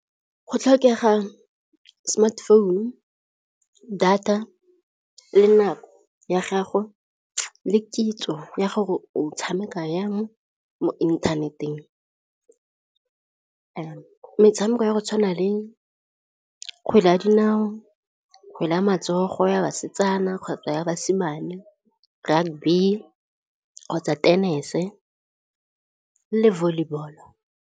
Go tlhokega smartphone, data, le nako ya gago, le kitso ya gore o tshameka yang mo mo inthaneteng. Metshameko ya go tshwana le kgwele ya dinao, kgwele ya matsogo ya basetsana kgotsa basimane, rugby kgotsa tenese le volleyball-o.